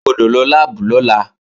O gbọ́dọ̀ lọ láàbù lọ́la!